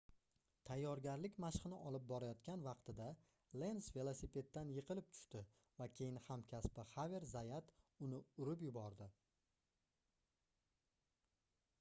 tayyorgarlik mashqini olib borayotgan vaqtida lenz velosipeddan yiqilib tushdi va keyin hamkasbi xaver zayat uni urib yubordi